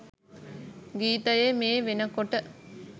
ගීතයේ මේ වෙනකොට